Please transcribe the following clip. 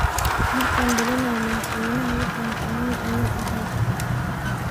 Markan dhalanay Madhaxweynah wadanka Moi ayu axay.